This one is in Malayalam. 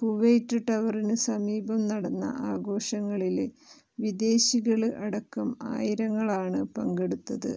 കുവൈറ്റ് ടവറിനു സമീപം നടന്ന ആഘോഷങ്ങളില് വിദേശികള് അടക്കം ആയിരങ്ങളാണ് പങ്കെടുത്തത്